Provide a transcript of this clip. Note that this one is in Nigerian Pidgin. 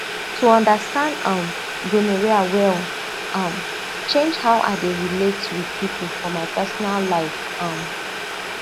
to understand um gonorrhea well um change how i dey relate with people for my personal life um